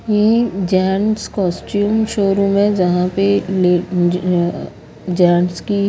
ये gents costume showroom है जहां पे ले अ जेंट्स की--